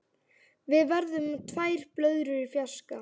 Við verðum tvær blöðrur í fjarska.